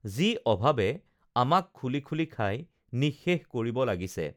যি অভাৱে আমাক খুলি খুলি খাই নিঃশেষ কৰিব লাগিছে